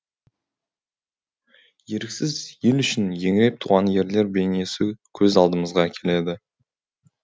еріксіз ел үшін еңіреп туған ерлер бейнесі көз алдымызға келеді